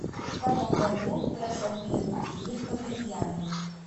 в каком году прошел первый турнир по бильярду